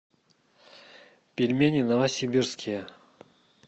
пельмени новосибирские